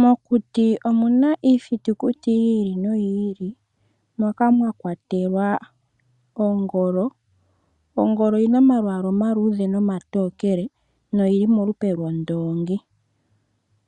Mokuti omuna iithitukuti yi ili noyi ili moka mwa kwatelwa ongolo. Ongolo oyina omalwaala omaluudhe nomatokele noyili molupe lwondoongi.